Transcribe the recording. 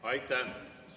Aitäh!